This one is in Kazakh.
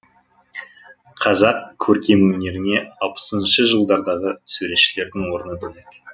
қазақ көркемөнеріне алпысыншы жылдардағы суретшілердің орны бөлек